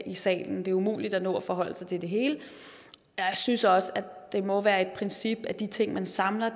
i salen det er umuligt at nå at forholde sig til det hele jeg synes også at det må være et princip at de ting man samler